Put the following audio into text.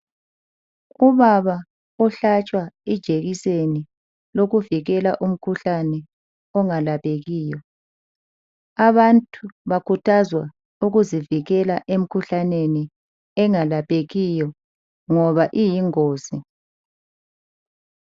Unana uhlatshwa ijekiseni yokuvikela umkhuhlane ongalaphekiyo abantu bakhuthazwa ukuzivikela emkhuhlaneni engalaphekiyo ngoba iyingozi .